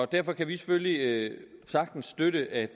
derfor kan vi selvfølgelig sagtens støtte at